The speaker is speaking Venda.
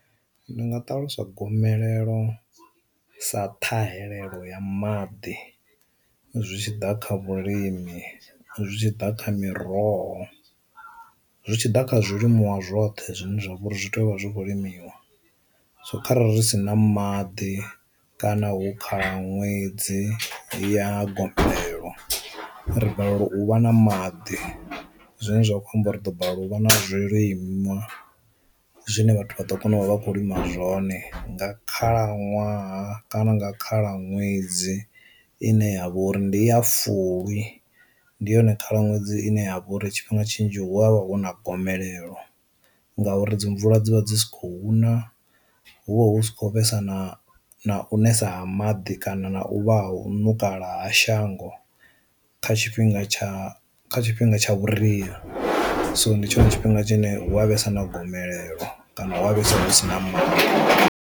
Ndi nga ṱalusa gomelelo sa ṱhahelelo ya maḓi zwi tshiḓa kha vhulimi, zwi tshi ḓa kha miroho, zwi tshi ḓa kha zwilimiwa zwoṱhe zwine zwa vha uri zwi tea u vha zwi kho limiwa, so kharali ri si na maḓi kana hu kha ṅwedzi ya gomelo ri balelwa u vha na maḓi zwine zwa khou amba ri ḓo balelwa u vha na zwilimwa zwine vhathu vha ḓo kona u vha vha kho lima zwone. Nga khalaṅwaha kana nga khalaṅwedzi ine ya vha uri ndi ya fulwi ndi yone khala ṅwedzi ine ya vha uri tshifhinga tshinzhi hu vha hu na gomelelo ngauri dzi mvula dzi vha dzi sa khou na hu vha hu si khou vhesa na nesa ha maḓi kana na u vha hu nukala ha shango kha tshifhinga tsha kha tshifhinga tsha vhuria, so ndi tshone tshifhinga tshine hu a vhesa na gomelelo kana hu a vhesa husina maḓi.